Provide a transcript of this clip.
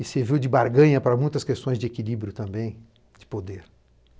E serviu de barganha para muitas questões de equilíbrio também, de poder.